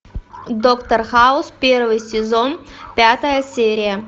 доктор хаус первый сезон пятая серия